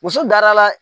Muso darala la